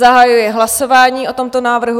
Zahajuji hlasování o tomto návrhu.